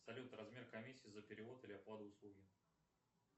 салют размер комиссии за перевод или оплату услуги